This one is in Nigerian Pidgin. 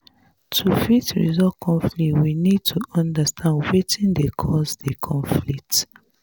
to fit resolve conflict we need to understand wetin dey cause di conflict